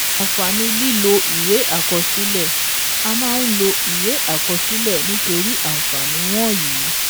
Àǹfààní lílọ ìwé àkọsílẹ̀ A máa ń lo ìwé àkọsílẹ̀ nítorí àǹfààní wọ̀nyí: